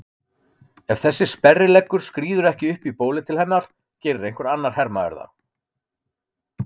Ef þessi sperrileggur skríður ekki upp í bólið til hennar gerir einhver annar hermaður það.